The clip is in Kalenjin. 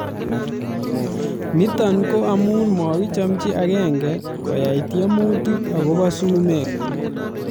Nitok ko amu makichamchi akenge koyai tiemutik akobo sumek